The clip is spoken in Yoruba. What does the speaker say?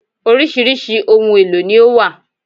Orísirísi ohun èlò ni ó wà